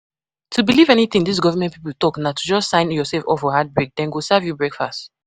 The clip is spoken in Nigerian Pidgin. To believe anything dis government people talk na to just sign yourself up for heartbreak. Dem go serve you breakfast.